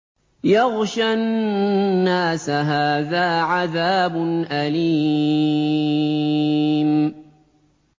يَغْشَى النَّاسَ ۖ هَٰذَا عَذَابٌ أَلِيمٌ